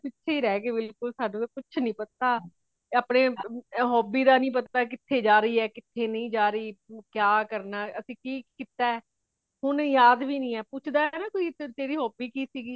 ਪਿੱਛੇ ਹੀ ਰਹਗਯੀ ਬਿਲਕੁਲ ਸਾਨੂ ਕੁਛ ਨਹੀਂ ਪਤਾ ਅਪਣੇ hobby ਦਾ ਨਹੀਂ ਪਤਾ , ਕਿਥੇ ਜਾ ਰਹੀ ਹੇ ਕਿਥੇ ਨਹੀਂ ਜਾ ਰਹੀ , ਕਯਾ ਕਰਨਾ ਅਸੀਂ ਕੇ ਕੀਤਾ ਏ ਹੁਣ ਯਾਦ ਵੀ ਨਹੀਂ ਹੇ ਪੁੱਛਦਾ ਹੇ ਨਾ ਕੋਈ ਤੇਰੀ hobby ਕੀ ਸੀਗੀ